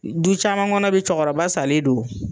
Du caman kɔnɔ bi cɔkɔrɔba salen don